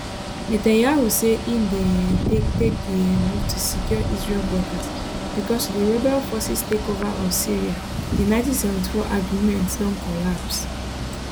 netanyahu say im dey um take take di um move to secure israel borders becos with di rebel forces takeover of syria di 1974 agreement don collapse